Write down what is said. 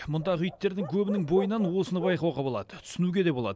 мұндағы иттердің көбінің бойынан осыны байқауға болады түсінуге де болады